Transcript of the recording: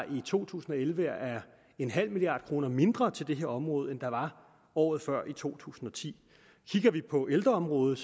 i to tusind og elleve er en halv milliard kroner mindre til det her område end der var året før i to tusind og ti kigger vi på ældreområdet